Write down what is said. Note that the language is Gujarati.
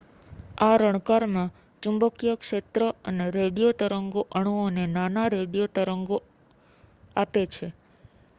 આ રણકારમાં ચુંબકીય ક્ષેત્ર અને રેડિયો તરંગો અણુઓને નાના રેડિયો સંકેતો આપે છે